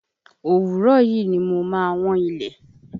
Òwúrọ̀ yìí ni mo ma wọ́n ilẹ̀.